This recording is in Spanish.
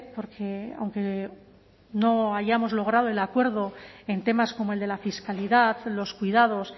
porque aunque no hayamos logrado el acuerdo en temas como el de la fiscalidad los cuidados